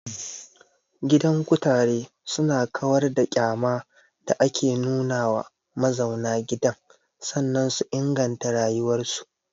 Gidan kutare su na kawar da ƙyama da ake nuna wa mazauna gidan sannan su inganta rayuwar su